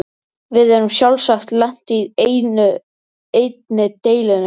Við erum sjálfsagt lent í einni dellunni enn.